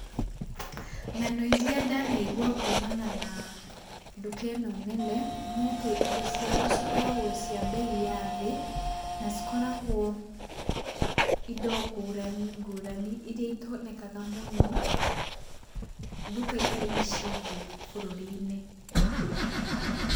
Ng'ano iria ndanaigua kumana na duka ĩno nene, nĩ atĩ indo ciao cikoragwo cia mbei ya thĩ na cikoragwo indo ngũrani ngũrani iria itonekaga mũno duka-inĩ ici ingĩ bũrũri-inĩ.